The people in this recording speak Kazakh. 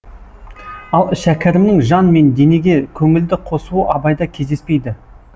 ал шәкәрімнің жан мен денеге көңілді қосуы абайда кездеспейді